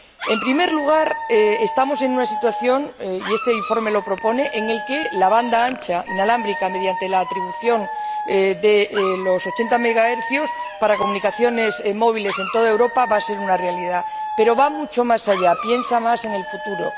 En primer lugar, estamos en una situación y este informe lo propone en la que la banda ancha, inalámbrica, mediante la atribución de los 80 MHz para comunicaciones móviles en toda Europa va a ser una realidad, pero el informe va mucho más allá, piensa más en el futuro.